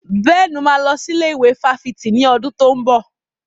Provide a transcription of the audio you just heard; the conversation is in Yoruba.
Bẹ́ẹ̀ni, mo máa lọ sí ilé ìwé fáfitì ní ọdún tó ń bọ̀.